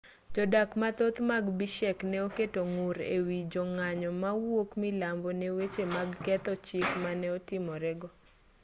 jodak mathoth mag bishek ne oketo ng'ur e wi jong'anyo mawuok milambo ne weche mag ketho chik mane otimore go